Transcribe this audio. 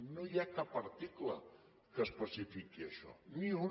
no hi ha cap article que especifiqui això ni un